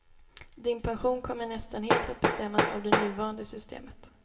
Din pension kommer nästan helt att bestämmas av det nuvarande systemet.